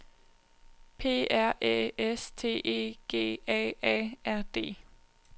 P R Æ S T E G A A R D